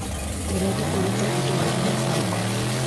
Ndĩreda ũrute indo harĩ mũbango .